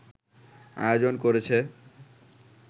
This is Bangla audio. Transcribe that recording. আয়োজন করেছে